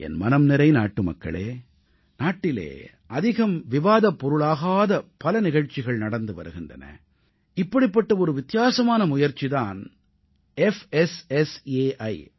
என் மனம் நிறை நாட்டுமக்களே நாட்டிலே அதிகம் விவாதப்பொருளாகாத பல நிகழ்ச்சிகள் நடந்து வருகின்றன இப்படிப்பட்ட ஒரு வித்தியாசமான முயற்சி தான் புஸ்ஸை